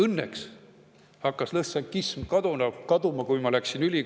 Kui mina keskkooli lõpetasin, hakkas lõssenkism kaduma.